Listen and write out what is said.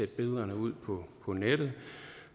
billederne ud på nettet